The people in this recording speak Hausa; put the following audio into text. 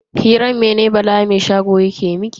Hiran mene Bala mai shago yake miki?